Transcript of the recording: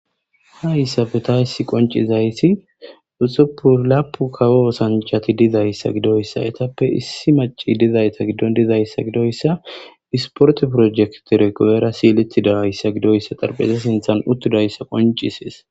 ha issafe ta issi qoncizayti uxupu lapu kawo sanjhati dizayssa gidoyssa ytappe issi maci dizayta giddon dizayssa gidoyssa isporti projektireguera siiletidahayssa gidoyssa xarpeze sinthan uttudayssa qoncisees